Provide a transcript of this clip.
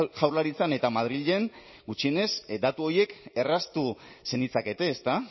jaurlaritzan eta madrilen gutxienez datu horiek erraztu zenitzakete ezta